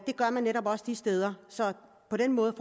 gør man netop også de steder så på den måde